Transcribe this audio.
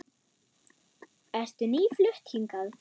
Ertu nýflutt hingað?